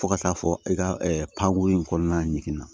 Fo ka taa fɔ i ka panko in kɔnɔna ɲinana